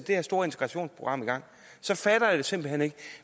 her store integrationsprogram i gang jeg fatter det simpelt hen ikke